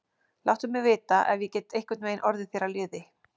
Láttu mig vita, ef ég get einhvern veginn orðið þér að liði.